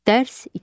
Dərs 2.